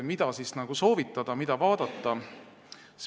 Mida soovitada, mida vaadata?